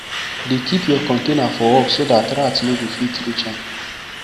dey keep your container for up so dat rat nor go fit reach am